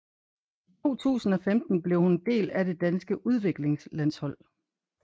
I 2015 blev hun en del af det danske udviklingslandshold